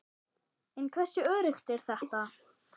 En hversu öruggt er þetta?